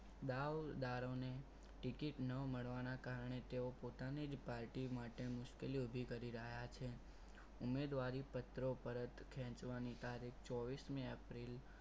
દાવદારોને ticket ન મળવાના કારણે તે પોતાની જ પાર્ટી માટે મુશ્કેલી ઊભી કરી રહ્યા છે ઉમેદવારી પત્રો પરત ખેંચવાની તારીખ ચોવીસ મે એપ્રિલ